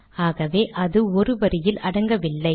ஆகவே அது ஒரு வரியில் அடங்கவில்லை